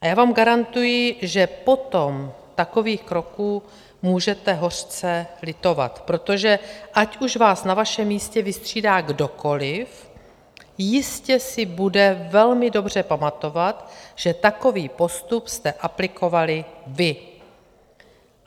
A já vám garantuji, že potom takových kroků můžete hořce litovat, protože ať už vás na vašem místě vystřídá kdokoliv, jistě si bude velmi dobře pamatovat, že takový postup jste aplikovali vy.